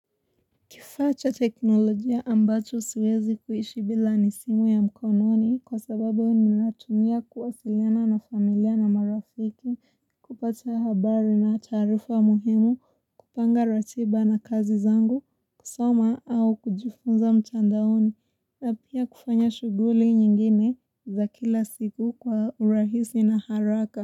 Kifaa cha teknolojia ambacho siwezi kuishi bila ni simu ya mkononi kwa sababu ni natumia kuwasiliana na familia na marafiki, kupata habari na taarifa muhimu, kupanga ratiba na kazi zangu, kusoma au kujifunza mtandaoni, na pia kufanya shuguli nyingine za kila siku kwa urahisi na haraka.